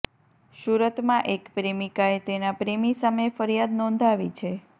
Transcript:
સુરતમાં એક પ્રેમિકાએ તેના પ્રેમી સામે ફરિયાદ નોંધાવી છે